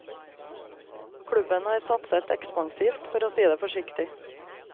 Klubben har satset ekspansivt, for å si det forsiktig.